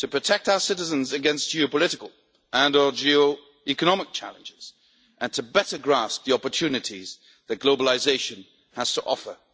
to protect our citizens against geopolitical and or geoeconomic challenges, and to better grasp the opportunities that globalisation has to offer.